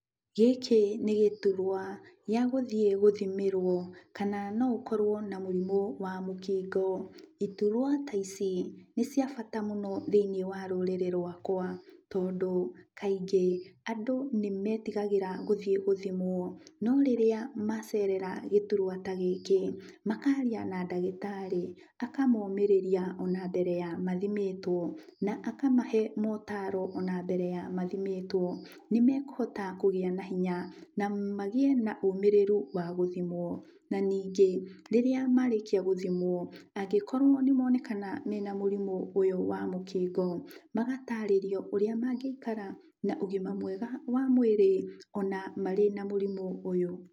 Gĩkĩ nĩ gĩturwa gĩa gũthiĩ gũthimĩrwo kana no ũkorwo na mũrimũ wa mũkingo. Iturwa ta ici nĩciabata mũno thĩiniĩ wa rũrĩrĩ rwakwa tondũ kaingĩ andũ nĩmetigagĩra gũthiĩ gũthimwo. No rĩrĩa macerera gĩturwa ta gĩkĩ, makaaria na ndagĩtarĩ akamomĩrĩria ona mbere ya mathimĩtwo na akamahe mootaro ona mbere ya mathimĩtwo, nĩmekũhota kũgĩa na hinya na magĩe na ũmĩrĩru wa gũthimwo. Na ningĩ, rĩrĩa marĩkia gũthimwo angĩkorwo nĩmonekana mena mũrimũ ũyũ wa mũkingo, magatarĩrio ũrĩa mangĩikara na ũgima mwega wa mwĩrĩ ona marĩ na mũrimũ ũyũ.